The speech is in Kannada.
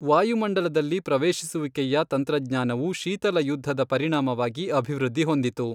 ವಾಯುಮಂಡಲದಲ್ಲಿ ಪ್ರವೇಶಿಸುವಿಕೆಯ ತಂತ್ರಜ್ಞಾನವು ಶೀತಲಯುದ್ಧದ ಪರಿಣಾಮವಾಗಿ ಅಭಿವೃದ್ಧಿ ಹೊಂದಿತು.